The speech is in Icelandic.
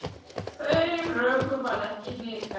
Þeim rökum varð ekki hnikað.